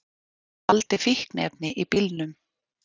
Faldi fíkniefni í bílnum